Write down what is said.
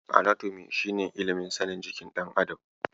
Anatomi shi ne ilimin sanin jikin ɗan adam.